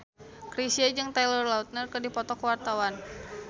Chrisye jeung Taylor Lautner keur dipoto ku wartawan